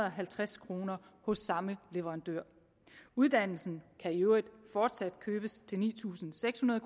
og halvtreds kroner hos samme leverandør uddannelsen kan i øvrigt fortsat købes til ni tusind seks hundrede